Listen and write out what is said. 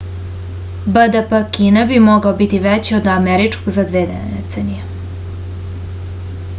bdp kine bi mogao biti veći od američkog za dve decenije